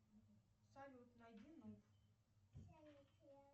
салют найди нуб